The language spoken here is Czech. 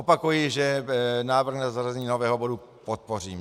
Opakuji, že návrh na zařazení nového bodu podpořím.